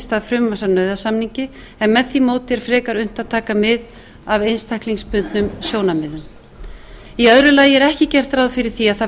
stað frumvarps að nauðasamningi en með því móti er frekar unnt að taka mið af einstaklingsbundnum sjónarmiðum annars ekki er gert ráð fyrir því að það velti